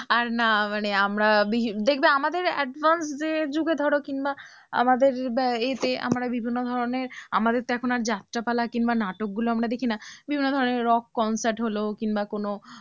আর না মানে আমরা বিভিন্ন দেখবে আমাদের advance যে যুগে ধরো কিংবা আমাদের এতে আমার বিভিন্ন ধরনের আমাদের তো এখন যাত্রাপালা কিংবা নাটক গুলো দেখি না বিভিন্ন ধরনের rock concert হলো কিংবা কোন